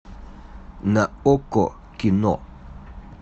на окко кино